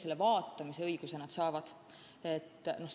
Selle õiguse nad saavad.